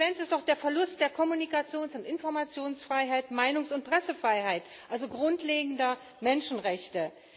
weg. Die Konsequenz ist doch der Verlust der Kommunikations und Informationsfreiheit, der Meinungs und Pressefreiheit, also grundlegender Menschenrechte.